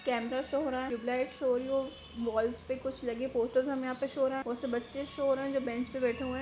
Camera show हो रहा है ट्यूबलाइट शो हो रही है वॉल्स पे कुछ लगे पोस्टर्स हमें यहाँ पे शो हो रहे हैं और सब बच्चे शो हो रहे हैं जो बेंच पर बैठे हुए है।